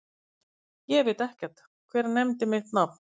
Ég veit ekkert, hver nefndi mitt nafn?